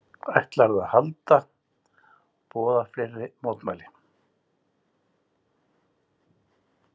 Ætlarðu að halda, boða fleiri mótmæli?